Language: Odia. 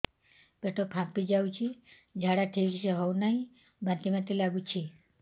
ପେଟ ଫାମ୍ପି ଯାଉଛି ଝାଡା ଠିକ ସେ ହଉନାହିଁ ବାନ୍ତି ବାନ୍ତି ଲଗୁଛି